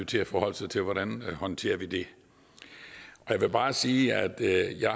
til at forholde sig til hvordan vi håndterer det jeg vil bare sige at jeg